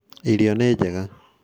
Irio nĩ njega